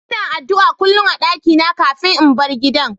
lna addu'a kullum a'dakina kafin in bar gidan.